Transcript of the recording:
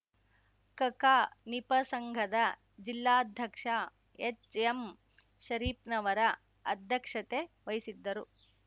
ಕಕಾನಿಪಸಂಘದ ಜಿಲ್ಲಾಧ್ಯಕ್ಷ ಎಚ್ಎಂಶರೀಪ್ನವರ ಅಧ್ಯಕ್ಷತೆವಹಿಸಿದ್ದರು